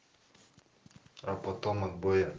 а потом одбоя